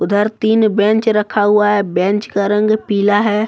उधर तीन बेंच रखा हुआ है बेंच का रंग पीला है।